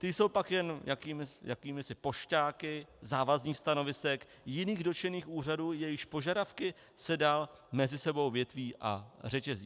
Ty jsou pak jen jakýmisi pošťáky závazných stanovisek jiných dotčených úřadů, jejichž požadavky se dál mezi sebou větví a řetězí.